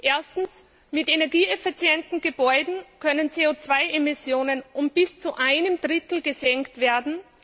Erstens mit energieeffizienten Gebäuden können CO 2 Emissionen um bis zu einem Drittel gesenkt werden.